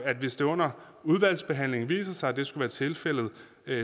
at hvis det under udvalgsbehandlingen viser sig at det skulle være tilfældet